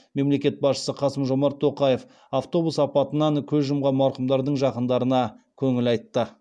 мемлекет басшысы қасым жомарт тоқаев автобус апатынан көз жұмған марқұмдардың жақындарына көңіл айтты